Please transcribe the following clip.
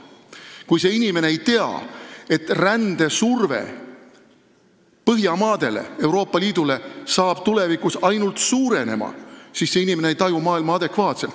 Kui see inimene ei tea, et rändesurve Põhjamaadele ja Euroopa Liidule tulevikus ainult suureneb, siis see inimene ei taju maailma adekvaatselt.